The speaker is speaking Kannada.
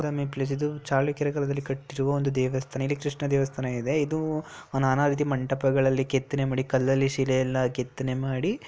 ಟೂರಿಸಂ ಪ್ಲೇಸ್ ಇದು ಚಾಲುಕ್ಯರ ಕಾಲದಲ್ಲಿ ಕಟ್ಟಿರುವ ದೇವಸ್ಥಾನ ಇಲ್ಲ ಕೃಷ್ಣ ದೇವಸ್ಥಾನ ಇದೆ ಇದು ನಾನಾರೀತಿ ಮಂಟಪಗಳ್ಲಲಿ ಕೆತ್ತನೆ ಮಾಡಿ ಕಲ್ಲಲಿ ಶಿಲೆ ಎಲ್ಲ ಕೆತ್ತನೆ ಮಾಡಿ.